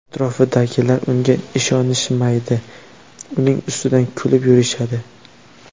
Atrofidagilar unga ishonishmaydi, uning ustidan kulib yurishadi.